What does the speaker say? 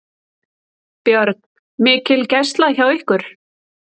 Björn: Mikil gæsla hjá ykkur?